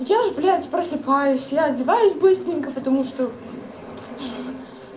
я ж блядь просыпаюсь я одеваюсь быстренько потому что